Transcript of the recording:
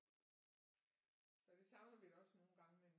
Så det savner vi da også nogle gange men